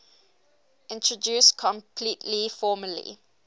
introduced completely formally